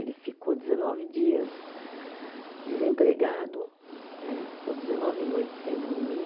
Ele ficou dezenove dias desempregado né, ficou dezenove noites sem dormir.